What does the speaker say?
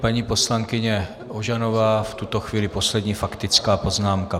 Paní poslankyně Ožanová, v tuto chvíli poslední faktická poznámka.